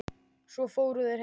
Svo fóru þeir heim.